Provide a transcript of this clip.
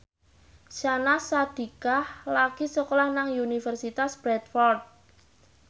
Syahnaz Sadiqah lagi sekolah nang Universitas Bradford